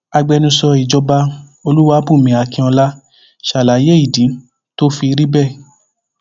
agbẹnusọ ìjọba olúwàbùnmí akínọlá ṣàlàyé ìdí tó fi rí bẹẹ